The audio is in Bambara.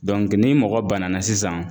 ni mɔgɔ banana sisan